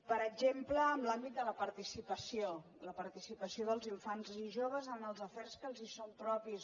per exemple en l’àmbit de la participació la participació dels infants i joves en els afers que els són propis